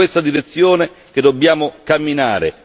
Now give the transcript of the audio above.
È in questa direzione che dobbiamo camminare.